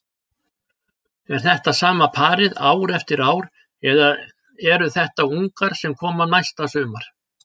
Er þetta sama parið ár eftir ár eða eru þetta ungar sem koma næsta sumar?